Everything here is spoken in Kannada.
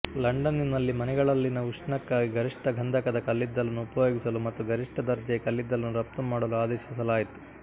ಲಂಡನ್ನಿನಲ್ಲಿ ಮನೆಗಳಲ್ಲಿನ ಉಷ್ಣಕ್ಕಾಗಿ ಗರಿಷ್ಠ ಗಂಧಕದ ಕಲ್ಲಿದ್ದಲನ್ನು ಉಪಯೋಗಿಸಲು ಮತ್ತು ಗರಿಷ್ಠ ದರ್ಜೆಯ ಕಲ್ಲಿದ್ದಲನ್ನು ರಫ್ತು ಮಾಡಲು ಆದೇಶಿಸಲಾಯಿತು